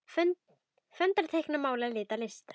Föndra- teikna- mála- lita- listir